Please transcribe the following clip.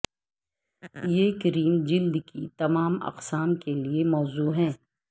یہ کریم جلد کی تمام اقسام کے لئے موزوں ہے